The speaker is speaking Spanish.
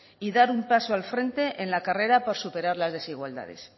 y dar un paso al frente en la carrera para superar las desigualdades